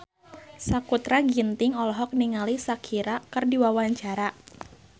Sakutra Ginting olohok ningali Shakira keur diwawancara